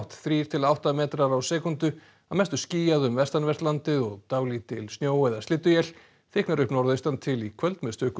þrír til átta metrar á sekúndu að mestu skýjað um vestanvert landið og dálítil snjó eða slydduél þykknar upp norðaustantil í kvöld með stöku